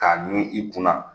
K'a ɲun i kunna